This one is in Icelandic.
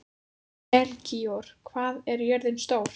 Melkíor, hvað er jörðin stór?